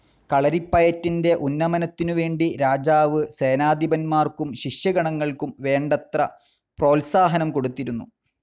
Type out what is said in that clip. കളരിപ്പയറ്റിൻ്റെ ഉന്നമനത്തിനുവേണ്ടി രാജാവ് സേനാധിപന്മാർക്കും ശിഷ്യഗണങ്ങൾക്കും വേണ്ടത്ര പ്രോത്സാഹനം കൊടുത്തിരുന്നു.